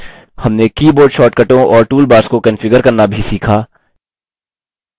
हमने keyboard शॉर्टकटों और toolbars को configure करना भी सीखा